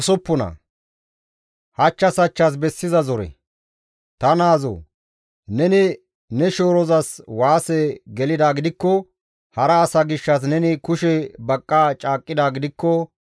Ta naazoo! Neni ne shoorozas waase gelidaa gidikko, hara asa gishshas neni kushe baqqa caaqqidaa gidikko,